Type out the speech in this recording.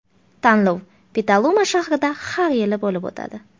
Tanlov Petaluma shahrida har yili bo‘lib o‘tadi.